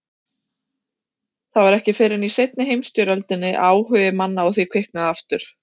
Það var ekki fyrr en í seinni heimsstyrjöldinni að áhugi manna á því kviknaði aftur.